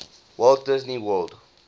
walt disney world